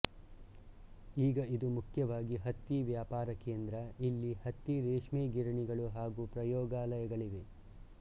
ಈಗ ಇದು ಮುಖ್ಯವಾಗಿ ಹತ್ತಿ ವ್ಯಾಪಾರಕೇಂದ್ರ ಇಲ್ಲಿ ಹತ್ತಿ ರೇಷ್ಮೆಗಿರಣಿಗಳು ಹಾಗೂ ಪ್ರಯೋಗಾಲಯಗಳಿವೆ